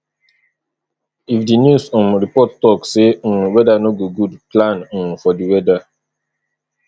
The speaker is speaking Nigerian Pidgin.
if di news um report talk sey um weather no go good plan um for di weather